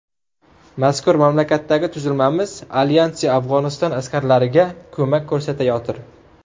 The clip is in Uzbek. Mazkur mamlakatdagi tuzilmamiz alyansi Afg‘oniston askarlariga ko‘mak ko‘rsatayotir.